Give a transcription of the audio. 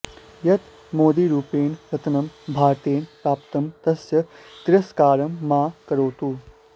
यत् मोदिरूपेण रत्नं भारतेन प्राप्तं तस्य तिरस्कारं मा करोतु